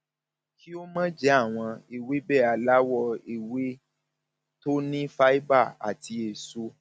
kí o máa jẹ àwọn ewébẹ aláwọ ewé àwọn ewébẹ tó ní fáíbà àti èso